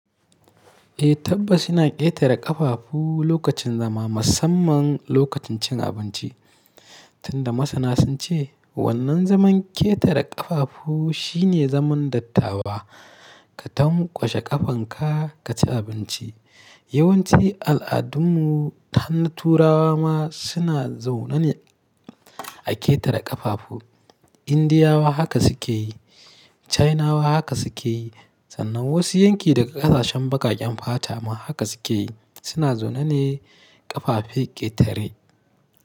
Eh tabbas yana ƙetare ƙafafu lokacin zama, musamman lokacin cin abinci. Tunda masana sun ce wannan zaman ƙetare ƙafafu shine zaman dattawa. Ka tamƙwashe ƙafanka ka ci abinci. Yawanci al'adunmu hannun turawa ma suna zaune ne a ƙetare ƙafafu. Indiyawa haka suke yi, Chinawa haka suke yi, sannan wasu yanki daga ƙasashen bakaken fata ma haka suke yi. Suna zaune ne ƙafafe ƙetare.